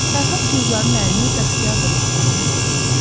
Fərhad Gülzarın əlini Bəxtiyar dodaqlarına apardı.